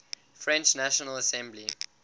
french national assembly